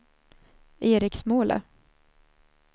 Eriksmåla